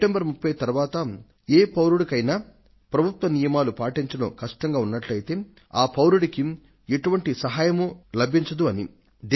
September 30 తరువాత ఏ పౌరుడికైనా ప్రభుత్వ నియమాలను పాటించడం కష్టంగా ఉన్నట్లయితే ఆ పౌరుడికి ఎటువంటి సహాయమూ లభించదు అని